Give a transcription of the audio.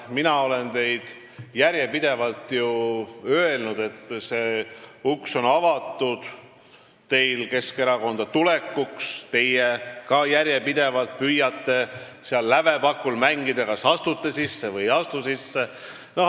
Mina olen teile järjepidevalt öelnud, et teile on avatud uks Keskerakonda tulekuks, teie püüate järjepidevalt seal lävepakul mängida, et kas astuda sisse või mitte.